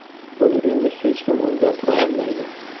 Buni endi hech kim o‘zgartira olmaydi”.